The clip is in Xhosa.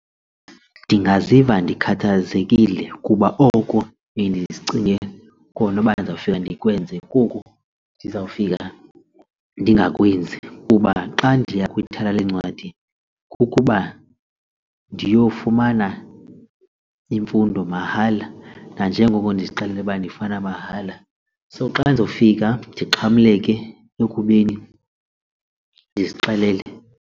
Ndingaziva ndikhathazekile kuba oko ndiye ndicinge kona uba ndizawufika ndikwenze kuko ndizawufika ndingakwenzi kuba xa ndiya kwithala leencwadi kukuba ndiyofumana imfundo mahala nanjengoko ndizixelele uba ndifune mahala. So xa ndizofika ndixhamleke ekubeni ndizixelele.